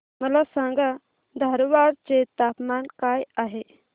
मला सांगा धारवाड चे तापमान काय आहे